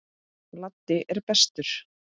Laddi er bestur.